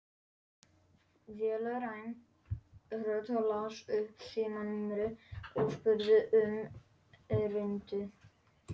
Vélræn rödd las upp símanúmerið og spurði um erindið.